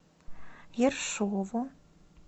ершову